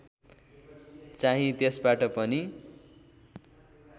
चाहिँ त्यसबाट पनि